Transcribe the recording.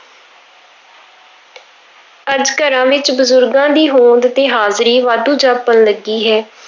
ਅੱਜ ਘਰਾਂ ਵਿੱਚ ਬਜ਼ੁਰਗਾਂ ਦੀ ਹੋਂਦ ਤੇ ਹਾਜ਼ਰੀ ਵਾਧੂ ਜਾਪਣ ਲੱਗੀ ਹੈ।